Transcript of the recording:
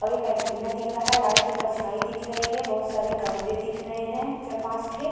और एक एंटीना दिख रहा है। लाइट की परछाई दिख रही है। बहोत सारे गमले दिख रहे हैं चारपांच ठे।